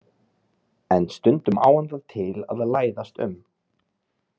En stundum á hann það til að læðast um.